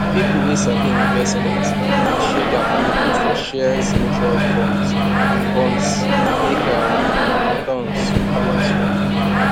people wey sabi investment dey share their money put for shares mutual funds and bonds make um returns balance well